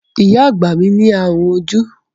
Ìyá àgbà mi ní ààrùn ojú.